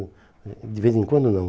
o o De vez em quando, não.